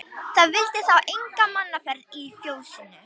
Það vildi þá enga mannaferð í fjósinu.